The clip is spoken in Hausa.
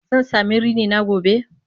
Zan sami rini na gobe?